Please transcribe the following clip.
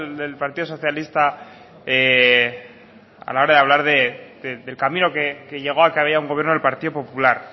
del partido socialista a la hora de hablar del camino que llegó a que había un gobierno del partido popular